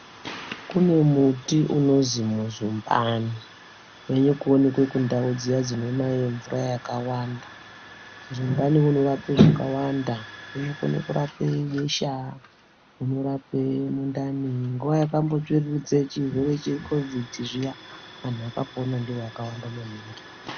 Kune muti unozi muzumbani uri kuonekwa kundau dzuiya dzinonaye mvura yakawanda. Muzumbani unorape zviro zvakawanda kunokone kurape besha unorape mundani. Nguva yakambotsviriridze chirwere chekovidhi zviya antu akapona ndivo akawanda maningi.